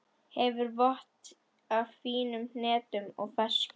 Hefur vott af fínum hnetum og ferskjum.